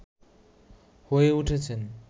হয়ে উঠেছেন